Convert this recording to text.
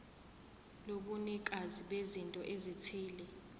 lobunikazi bezinto ezithile